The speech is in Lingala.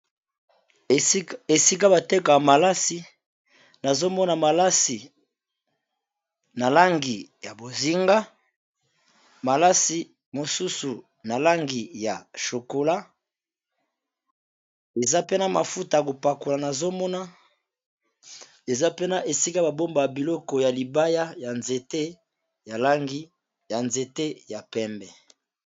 Esika bateki ya malasi nazomona malasi na langi ya bozinga, malasi mosusu na langi ya chokola, eza pe na mafuta kopakola nazomona eza pena esika babomba ya biloko ya libaya ya nzete ya pembe.